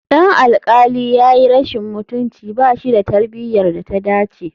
Dan alƙali ya yi rashin mutunci, ba shi da tarbiyyar da ta dace